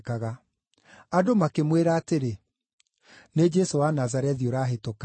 Andũ makĩmwĩra atĩrĩ, “Nĩ Jesũ wa Nazarethi ũrahĩtũka.”